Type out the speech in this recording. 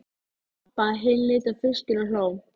Eftir situr keimur af svita og reyk.